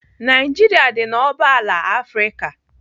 Naijiria dị n'oboala Afrịka.